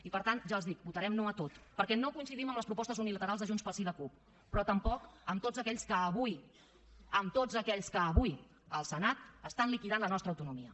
i per tant ja els ho dic votarem no a tot perquè no coincidim amb les propostes unilaterals de junts pel sí i la cup però tampoc amb tots aquells que avui amb tots aquells que avui al senat estan liquidant la nostra autonomia